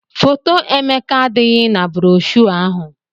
Foto Emeka adịghị na broshọ ahụ